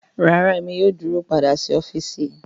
Rara Emi yoo duro pada si ọfiisi